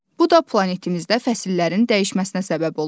Bu da planetimizdə fəsillərin dəyişməsinə səbəb olur.